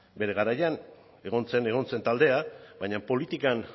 bere garaian egon zen egon zen taldea baina politikan